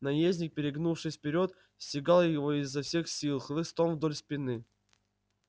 наездник перегнувшись вперёд стегал его изо всех сил хлыстом вдоль спины